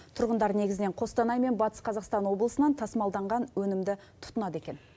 тұрғындар негізінен қостанай мен батыс қазақстан облысынан тасымалданған өнімді тұтынады екен